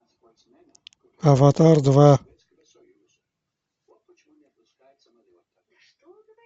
аватар два